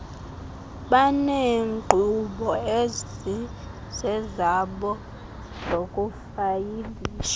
baneenkqubo ezizezabo zokufayilisha